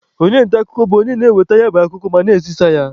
Onye nta akụkọ bụ onye na-enweta ya bụ akụkọ ma na-ezisa ya.